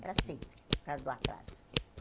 Era sempre, por causa do atraso.